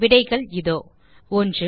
விடைகள் இதோ 1